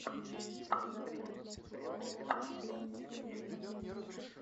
стрим стрелка энд ника у тебя есть